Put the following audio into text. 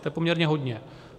To je poměrně hodně.